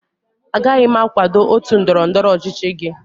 Agaghị m akwado otu ndọrọ ndọrọ ọchịchị gị